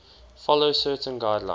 follow certain guidelines